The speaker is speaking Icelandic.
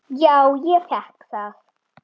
Já, ég fékk það.